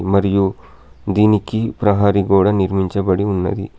మరియు దీనికి ప్రహరీ గోడ నిర్మించబడి ఉన్నది.